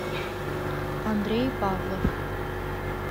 андрей павлов